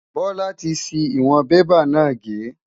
Bola ti ṣi ìwọ̀n bébà náà gé.